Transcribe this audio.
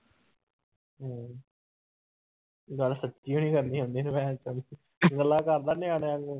ਗੱਲ ਸੱਚੀ ਹੋਈ ਨੀ ਕਰਨੀ ਆਉਂਦੀ ਭੈਣ ਚੋਦ ਨੂੰ ਗੱਲਾਂ ਕਰਦਾ ਨਿਆਣਿਆਂ ਵਾਂਗੂ।